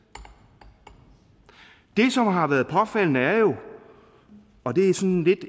det som har været påfaldende er jo og det er sådan lidt